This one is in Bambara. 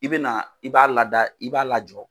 I bɛ na i b'a lada i b'a lajɔ.